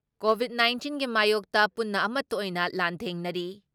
Covid ꯅꯥꯏꯟꯇꯤꯟꯒꯤ ꯃꯥꯌꯣꯛꯇ ꯄꯨꯟꯅ ꯑꯃꯠꯇ ꯑꯣꯏꯅ ꯂꯥꯟꯊꯦꯡꯅꯔꯤ ꯫